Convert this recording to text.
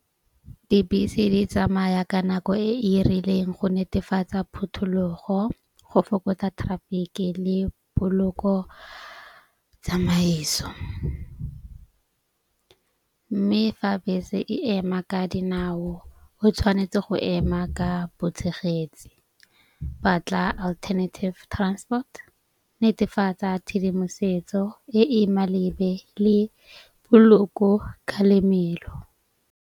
Dibese di tsamaya ka nako e e rileng go netefatsa phuthulogo, go fokotsa traffic-i le poloko tsamaiso. Mme fa bese e ema ka dinao o tshwanetse go ema ka botshegetse, batla alternative transport. Netefatsa tshedimosetso e e malebe le poloko kalemelo.